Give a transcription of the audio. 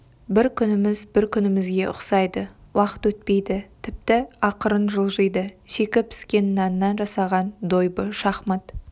бір күніміз бір күнімізге ұқсайды уақыт өтпейді тіпті ақырын жылжиды шикі піскен наннан жасаған дойбы шахмат